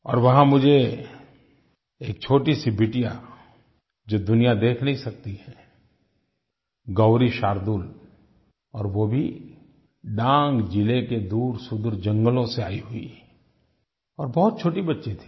और वहाँ मुझे एक छोटीसी बिटिया जो दुनिया देख नहीं सकती है गौरी शार्दूल और वो भी डांग ज़िले के दूरसुदूर जंगलों से आई हुई और बहुत छोटी बच्ची थी